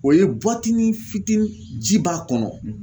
O ye buwatini fitini ji b'a kɔnɔ